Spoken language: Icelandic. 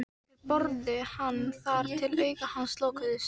Þeir börðu hann þar til augu hans lokuðust.